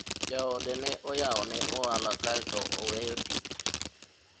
jaode ne oyawo ne ohala kaeto oweyo tich